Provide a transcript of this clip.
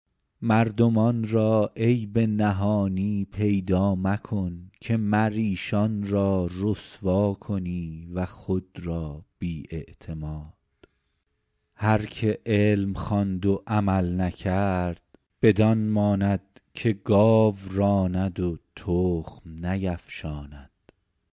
مردمان را عیب نهانی پیدا مکن که مر ایشان را رسوا کنی و خود را بی اعتماد هر که علم خواند و عمل نکرد بدان ماند که گاو راند و تخم نیفشاند